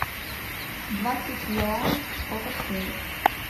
двадцать юаней сколько стоит